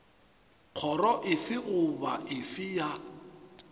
kgoro efe goba efe ya